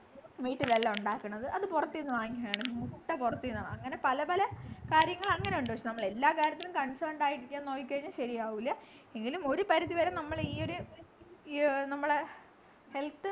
വീട്ടിലെല്ലാം ഉണ്ടാക്കണത്‌ അത് പുറത്തു നിന്ന് വാങ്ങിക്കാണു മൊത്തം പൊറത്തു നിന്ന വാങ്ങ അങ്ങനെ പല പല കാര്യങ്ങളെങ്ങനെ ഉണ്ട് പക്ഷെ നമ്മള് എല്ലാ കാര്യത്തിലും concerned ആയിരിക്കാൻ നോക്കിക്കഴിഞ്ഞാൽ ശരിയാവൂല എങ്കിലും ഒരു പരിധി വരെ നമ്മളെ ഈ ഒരു ഈ ഓ നമ്മളെ health